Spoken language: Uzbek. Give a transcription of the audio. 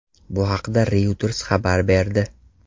Bu haqda Reuters xabar berdi.